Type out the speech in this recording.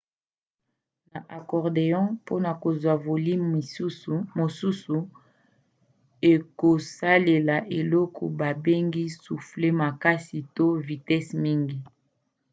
na accordéon mpona kozwa volime mosusu okosalela eloko babengi soufflet makasi to na vitese mingi